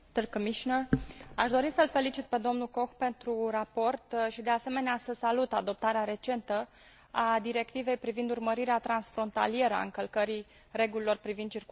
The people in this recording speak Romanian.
Aș dori să l felicit pe domnul Koch pentru raport și, de asemenea, să salut adoptarea recentă a Directivei privind urmărirea transfrontalieră a încălcării regulilor privind circulația rutieră.